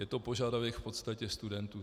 Je to požadavek v podstatě studentů.